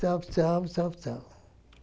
Salve, salve, salve, salve.